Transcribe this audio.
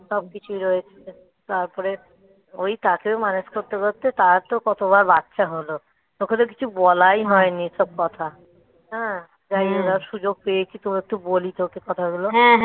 সবকিছুই রয়েছে তারপরে ওই তাকেও manage করতে করতে তারা তো কতবার বাচ্চা হলো তোকে তো কিছু বলাই হয়নি এসব কথা তাই ওরা সুযোগ পেয়েছি তো একটু বলি তো ওকে কথাগুলো